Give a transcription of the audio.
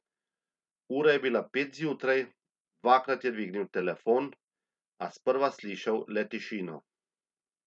Ura je bila pet zjutraj, dvakrat je dvignil telefon, a sprva slišal le tišino.